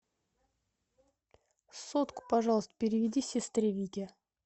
сотку пожалуйста переведи сестре вике